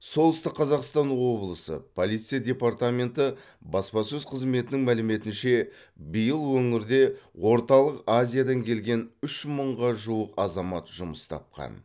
солтүстік қазақстан облысы полиция департаменті баспасөз қызметінің мәліметінше биыл өңірде орталық азиядан келген үш мыңға жуық азамат жұмыс тапқан